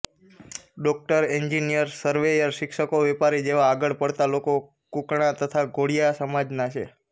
doctor engineer surveyor શિક્ષકો વેપારી જેવા આગળ પડતા લોકો કુકણા તથા ધોડીયા સમાજના છે